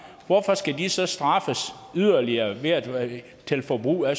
hvorfor skal de så straffes yderligere ved at de skal forbruge af